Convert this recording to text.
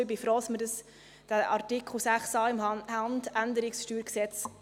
Denn ich bin froh, dass wir den Artikel 6a im HG präzisieren können.